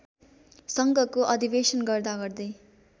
सङ्घको अधिवेशन गर्दागर्दै